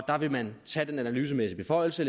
her vil man tage den analysemæssige beføjelse